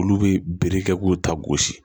Olu bɛ bere kɛ k'u ta gosi